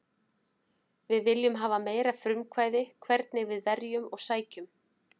Við viljum hafa meira frumkvæði hvernig við verjum og sækjum.